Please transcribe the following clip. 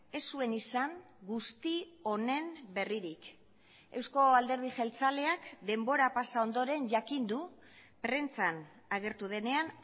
ez zuen izan guzti honen berririk euzko alderdi jeltzaleak denbora pasa ondoren jakin du prentsan agertu denean